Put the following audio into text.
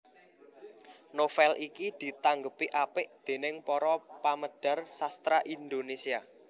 Novel iki ditanggepi apik déning para pamedhar sastra Indonesia